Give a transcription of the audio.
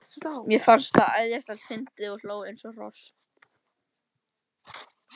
Mér fannst það æðislega fyndið og hló eins og hross.